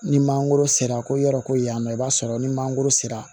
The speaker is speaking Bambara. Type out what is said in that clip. Ni mangoro sera ko yɔrɔ ko ye yan nɔ i b'a sɔrɔ ni mangoro sera